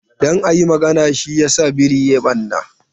Don a yi magana, shi yasa biri ya yi ɓarna.